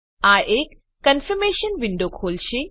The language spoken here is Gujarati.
આ એક ક્ન્ફીર્મેશન વિન્ડો ખોલશે